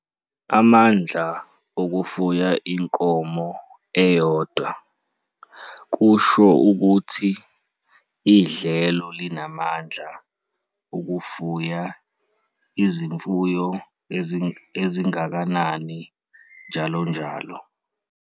Amandla okufuya inkomo eyodwa, carrying capacity, CC, kusho ukuthi idlelo linamandla ukufuya izimfuyo ezingakani njalonjalo.